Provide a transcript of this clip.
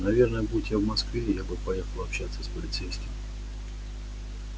наверное будь я в москве я бы поехал общаться с полицейским